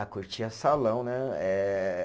Ah, curtia salão, né? Eh